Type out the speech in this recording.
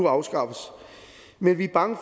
afskaffes men vi er bange